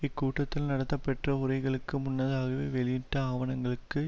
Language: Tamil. இக்கூட்டத்தில் நடத்தப்பெற்ற உரைகளுக்கு முன்னதாகவே வெளியிட்ட ஆவணங்களுக்கு